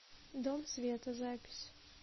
дом света запись